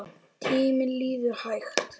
Tíminn líður hægt.